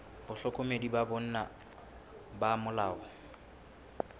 bahlokomedi ba bona ba molao